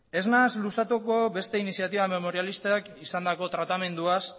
ez naiz luzatuko beste iniziatiba memorialistak izandako tratamenduaz